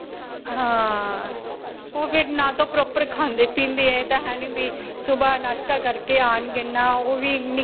ਹਾਂ. ਓਹ ਫਿਰ ਨਾ ਤੇ proper ਖਾਂਦੇ-ਪੀਂਦੇ ਹੈ. ਇਹ ਤਾਂ ਹੈ ਨਹੀਂ ਵੀ ਸੁਭਾਹ ਨਾਸ਼੍ਤਾ ਕਰਕੇ ਓਹ ਵੀ ਨਹੀਂ.